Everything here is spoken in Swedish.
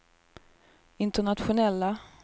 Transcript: internationella